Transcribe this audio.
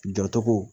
Jɔcogo